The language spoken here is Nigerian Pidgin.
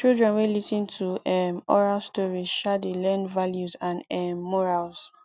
children wey lis ten to um oral stories um dey learn values and um morals